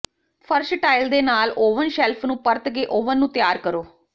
ਫਰਸ਼ ਟਾਇਲ ਦੇ ਨਾਲ ਓਵਨ ਸ਼ੈਲਫ ਨੂੰ ਪਰਤ ਕੇ ਓਵਨ ਨੂੰ ਤਿਆਰ ਕਰੋ